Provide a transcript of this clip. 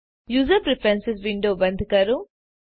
user preference window બંધ કરો